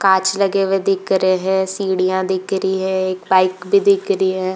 कांच लगे हुए दिख रहे हैं। सीढियाँ दिख रही हैं। एक बाइक भी दिख रही है।